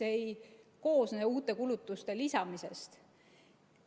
See ei koosne uute kulutuste lisamisest.